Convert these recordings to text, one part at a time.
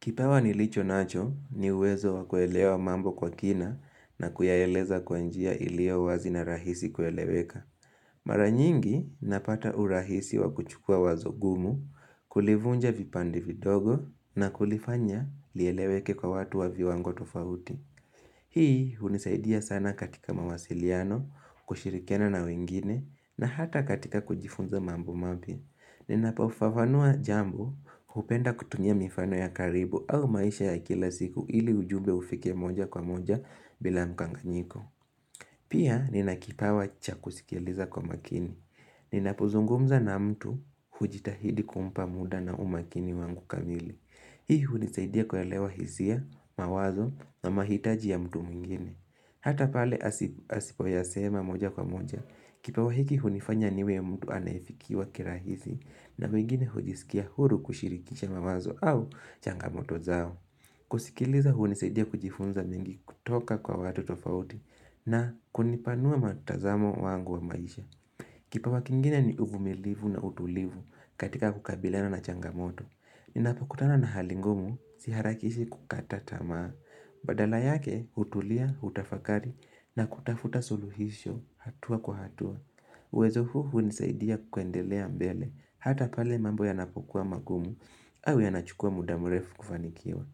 Kipawa nilicho nacho ni uwezo wakuelewa mambo kwa kina na kuyaeleza kwa njia ilio uwazi na rahisi kueleweka. Mara nyingi napata urahisi wakuchukua wazo ngumu, kulivunja vipande vidogo na kulifanya lieleweke kwa watu wa viwango tofauti. Hii hunisaidia sana katika mawasiliano, kushirikiana na wengine na hata katika kujifunza mambo mpya. Ninapo fafanua jambo hupenda kutumia mifano ya karibu au maisha ya kila siku ili ujumbe ufike moja kwa moja bila mkanganyiko Pia nina kipawa cha kusikiliza kwa makini. Ninapo zungumza na mtu hujitahidi kumpa mda na umakini wangu kamili Hii hunisaidia kuelewa hisia, mawazo na mahitaji ya mtu mwingine. Hata pale asi asipoyasema moja kwa moja, kipawa hiki hunifanya niwe mtu anaefikiwa kirahisi na wengine hujisikia huru kushirikisha mawazo au changamoto zao. Kusikiliza hunisaidia kujifunza mengi kutoka kwa watu tofauti na kunipanua matazamo wangu wa maisha. Kipawa kingine ni uvumilivu na utulivu katika kukabiliana na changamoto. Ninapokutana na hali ngumu, siharakishi kukata tamaa. Badala yake hutulia, hutafakari na kutafuta suluhisho hatua kwa hatua. Uwezo huu hunisaidia kuendelea mbele hata pale mambo yanapokuwa mangumu au yanachukua muda murefu kufanikiwa.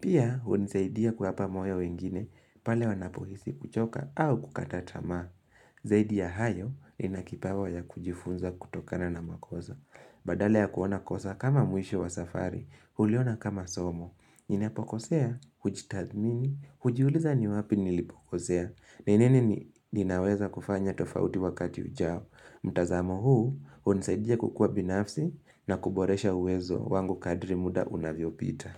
Pia hunisaidia kuapa moyo wengine pale wanapohisi kuchoka au kukata tamaa. Zaidi ya hayo nina kipawa ya kujifunza kutokana na makoza. Badala ya kuona kosa kama mwisho wa safari, huliona kama somo. Ninapo kosea, hujitadhamini, hujiuliza ni wapi nilipo kosea ni nini ni ninaweza kufanya tofauti wakati ujao mtazamo huu, hunisaidia kukua binafsi na kuboresha uwezo wangu kadri muda unavyo pita.